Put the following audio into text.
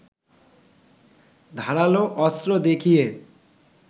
ধারালো অস্ত্র দেখিয়ে